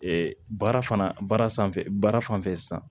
baara fana baara sanfɛ baara fan fɛ san